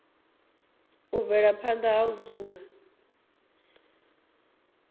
u bvela phanda na dzula